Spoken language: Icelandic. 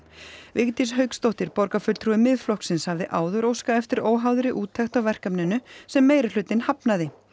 Vigdís Hauksdóttir borgarfulltrúi Miðflokksins hafði áður óskað eftir óháðri úttekt á verkefninu sem meirihlutinn hafnaði